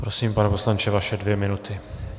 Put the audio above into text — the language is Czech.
Prosím, pane poslanče, vaše dvě minuty.